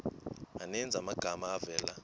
maninzi amagama avela